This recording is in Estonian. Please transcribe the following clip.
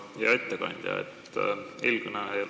Hea ettekandja!